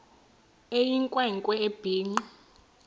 eyinkwe nkwe ebhinqe